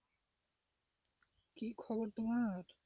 কি খবর তোমার?